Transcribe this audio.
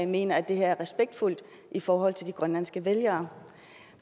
mener at det her er respektfuldt i forhold til de grønlandske vælgere